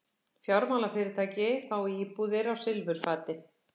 Fjármálafyrirtæki fái íbúðir á silfurfati